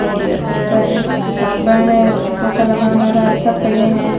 और ऊपर साबन पोछा लगाने वाला सब पड़ा है।